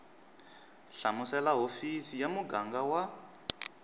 hlamusela hofisi ya muganga wa